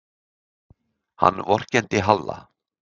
Hann vorkenndi Halla.